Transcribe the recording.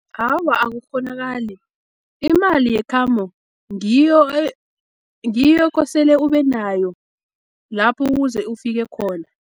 Awa, akukghonakali, imali yekhambo ngiyo kosele ubenayo, lapho kuze ufike khona.